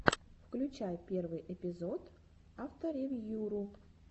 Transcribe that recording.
включай первый эпизод авторевьюру